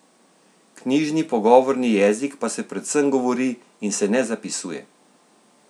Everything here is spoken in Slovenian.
Knjižni pogovorni jezik pa se predvsem govori in se ne zapisuje.